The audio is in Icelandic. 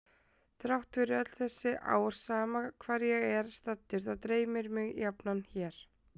Þrátt fyrir öll þessi ár sama hvar ég er staddur þá dreymir mig jafnan hér.